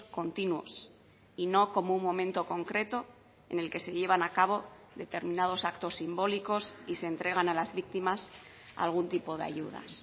continuos y no como un momento concreto en el que se llevan a cabo determinados actos simbólicos y se entregan a las víctimas algún tipo de ayudas